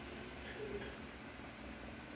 thuto